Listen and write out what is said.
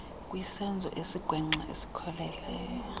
kwisenzo esigwenxa esikhokelele